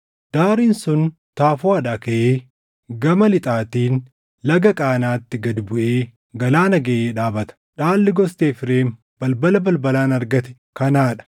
Daariin sun Tafuuʼaadhaa kaʼee gama Lixaatiin Laga Qaanaatti gad buʼee galaana gaʼee dhaabata. Dhaalli gosti Efreem balbala balbalaan argatte kanaa dha.